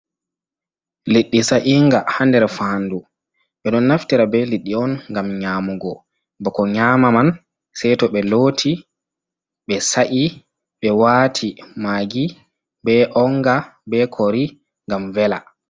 Liɗiɗi sa'inga haa nder faandu, ɓe ɗon naftira be liɗiɗi on ngam nyamugo, bako nyama man sey to ɓe looti, ɓe sa’i, ɓe waati maagi, be onga, be kori ngam vela.